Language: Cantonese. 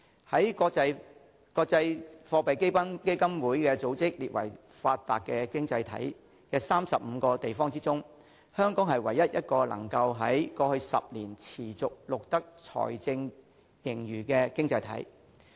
在國際貨幣基金組織列為發達經濟體的35個地方中，香港是唯一一個能在過去10年持續錄得財政盈餘的經濟體。